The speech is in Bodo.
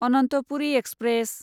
अनन्तपुरि एक्सप्रेस